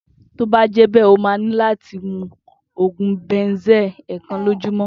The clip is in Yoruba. To bá je bẹ ọ ma ni láti mú ogun Banzel èèkàn lójúmó